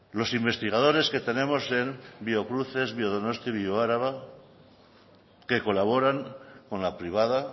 los investigadores que tenemos en biocruces en biodonosti bioaraba que colaboran con la privada